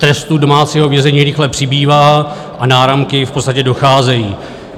Trestů domácího vězení rychle přibývá a náramky v podstatě docházejí.